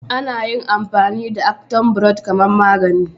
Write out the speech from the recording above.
Ana iya amfani da "Action bitter " kaman magani